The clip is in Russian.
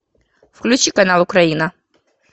включи канал украина